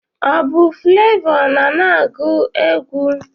Ọ bụ flevọ na-na-agụ egwụ?